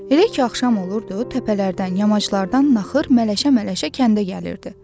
Elə ki axşam olurdu, təpələrdən, yamaclardan naxır mələşə-mələşə kəndə gəlirdi.